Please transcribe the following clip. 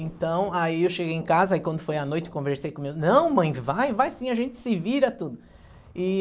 Então, aí eu cheguei em casa e quando foi a noite, eu conversei com meu, não mãe, vai, vai sim, a gente se vira tudo. E